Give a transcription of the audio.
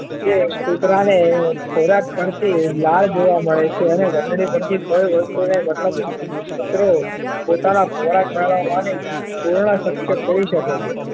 જે કુતરા ને ખોરાક પર થી લાળ જોવા મળે છે ને ઘંટડી પર થી કોઈ વસ્તુ ને મતલબ કુતરું પોતાનો ખોરાક મેળવવા ની પૂર્ણ શક્ય કરી શકે છે